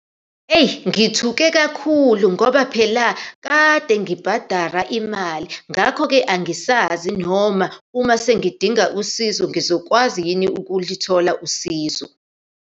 Eyi, ngithuke kakhulu ngoba phela kade ngibhadara imali, ngakho-ke angisazi noma uma sengidinga usizo, ngizokwazi yini ukulithola usizo.